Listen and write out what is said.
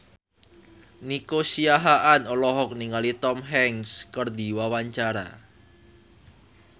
Nico Siahaan olohok ningali Tom Hanks keur diwawancara